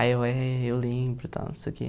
Aí eu é eu lembro, tal, não sei o quê.